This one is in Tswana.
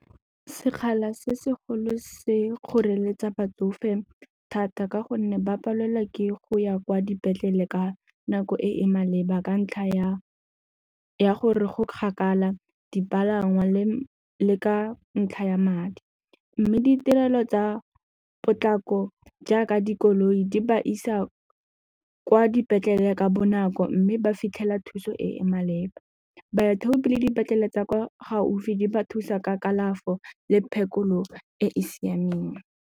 Sekgala se segolo se kgoreletsa batsofe thata ka gonne ba palelwa ke go ya kwa dipetlele ka nako e e maleba ka ntlha ya gore go kgakala dipalangwa le le ka ntlha ya madi mme ditirelo tsa potlako jaaka dikoloi di ba isa kwa dipetlele ka bonako mme ba fitlhela thuso e e maleba. Baithaopi le dipetlele tsa kwa gaufi di ba thusa ka kalafo le phekolo e e siameng.